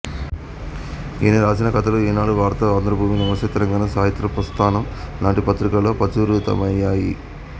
ఈయన రాసిన కథలు ఈనాడు వార్త ఆంధ్రభూమి నమస్తే తెలంగాణ సాహిత్య ప్రస్థానం లాంటి పత్రికలలో ప్రచురితమయ్యాయి